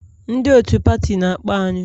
Ndị otu pati na-akpọ anyị